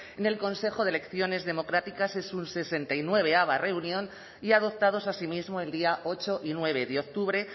en el consejo de elecciones democráticas en su hirurogeita bederatziava reunión y adoptados así mismo el día ocho y nueve de octubre